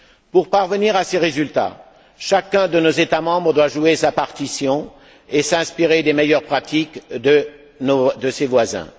Pour parvenir à ces résultats, chacun de nos États membres doit jouer sa partition et s'inspirer des meilleures pratiques de ses voisins.